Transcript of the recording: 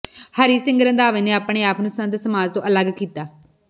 ਹਰੀ ਸਿੰਘ ਰੰਧਾਵੇ ਨੇ ਆਪਣੇ ਆਪ ਨੂੰ ਸੰਤ ਸਮਾਜ ਤੋਂ ਅਲੱਗ ਕੀਤਾ